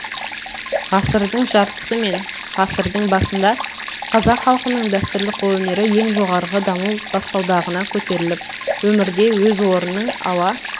ғасырдың жартысы мен ғасырдың басында қазақ халқының дәстүрлі қолөнері ең жоғарғы даму баспалдағына көтеріліп өмірде өз орнының ала